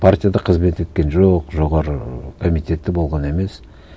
партияда қызмет еткен жоқ жоғары комитетте болған емес